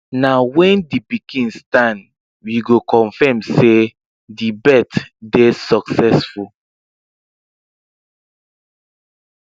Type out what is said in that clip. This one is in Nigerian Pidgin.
na when the pikin stand we go confirm say the birth dey succesful